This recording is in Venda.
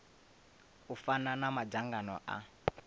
u fana na madzangano a